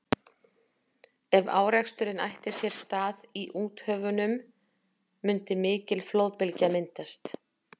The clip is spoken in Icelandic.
Ef áreksturinn ætti sér stað í úthöfunum mundi mikil flóðbylgja myndast.